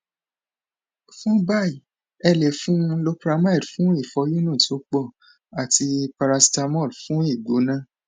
fún báyìí ẹ lè fún un loperamide fún ìfòyúnú tó pọ àti paracetamol fún igbona